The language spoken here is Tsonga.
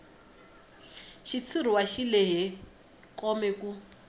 xitshuriwa xi lehe kome ku